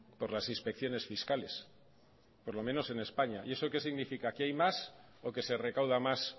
por las inspecciones fiscales por lo menos en españa y eso qué significa que hay más o que se recauda más